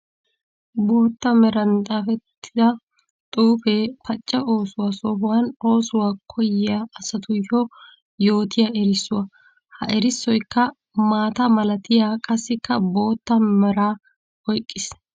Bootta meran xaafettidda xuufe pacca oosuwa sohuwa oosuwa koyiyya asatuyyo yootiya erissuwa. Ha erissoykka maata malattiya qassikka bootta mera oyqqis.